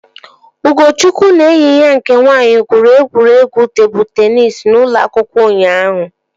Ugochukwu na enyi ya nke nwaanyị gwuru egwuregwu tebụl teenis n'ụlọ akwụkwọ ụnyaahụ